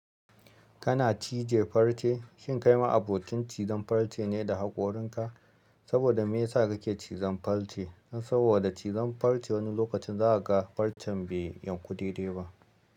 Kana cije farce, shin kai ma abokin cizon farce ne da haƙorinka? Saboda me yasa kake cizon farce? Saboda cizon farce wani lokacin za a ga farcen bai yanku dai-dai ba.